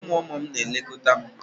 Ụmụ ụmụ m na-elekọta m.